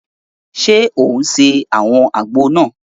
Ṣe o ń se awọn àgbo náà?